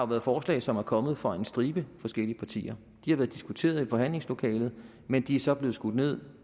været forslag som er kommet fra en stribe forskellige partier de har været diskuteret i forhandlingslokalet men de er så blevet skudt ned